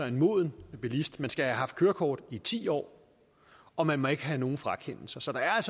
en moden bilist man skal have haft kørekort i ti år og man må ikke have haft nogen frakendelser så der er